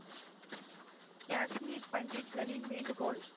காஷ்மீர் பண்டிட்களின் வேண்டுகோள்